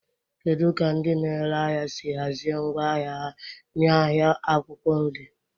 Kedu ka ndị na-ere ahịa si hazie ngwa ahịa ha n'ahịa akwụkwọ nri?